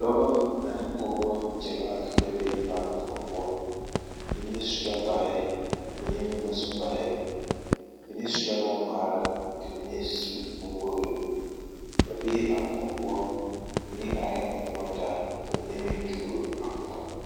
Dɔba ane pɔgeba gyamaa la be mane koɔ poɔ mine su la kparɛɛ mine meŋ ba su kparɛɛ mine su la bonŋmaara ka mine su bonwogri ba bee a koɔ poɔ mine arɛŋ a nyɔge taa ka mine meŋ duuro a koɔ.